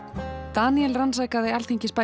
Daníel rannsakaði